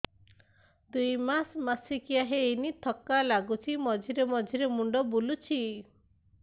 ଦୁଇ ମାସ ମାସିକିଆ ହେଇନି ଥକା ଲାଗୁଚି ମଝିରେ ମଝିରେ ମୁଣ୍ଡ ବୁଲୁଛି